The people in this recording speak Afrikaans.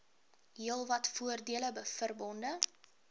heelwat voordele verbonde